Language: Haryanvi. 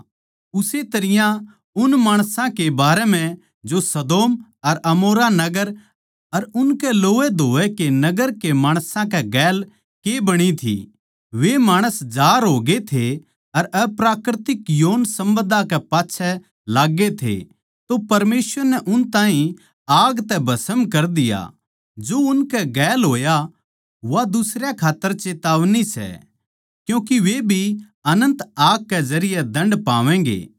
उस्से तरियां उन माणसां के बारें म्ह जो सदोम अर अमोरा नगर अर उनकै लोवैधोवै के नगर के माणसां कै गेल के बणी थी वे माणस जार होगे थे अर अप्राकृतिक यौनसम्बन्धां कै पाच्छै लाग्गे थे तो परमेसवर नै उन ताहीं आग तै भस्म कर दिया जो उनकै गेल होया वा दुसरयां खात्तर चेतावनी सै क्यूँके वे भी अनन्त आग के जरिये दण्ड पावैंगें